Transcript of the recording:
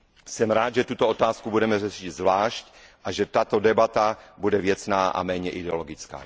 Jsem rád, že tuto otázku budeme řešit zvlášť a že tato debata bude věcná a méně ideologická.